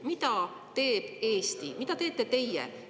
Mida teeb Eesti, mida teete teie?